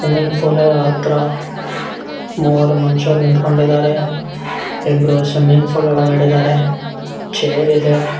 Swimming pool ಹತ್ರ ಮೂವರು ಮನುಷ್ಯರು ನಿಂತುಕೊಂಡಿದ್ದಾರೆ ಇಬ್ಬರು ಸ್ವಿಮ್ಮಿಂಗ್ ಫೂಲ್ ಒಳಗಡೆ ಇದ್ದಾರೆ ಚೇರ್ ಇದೆ.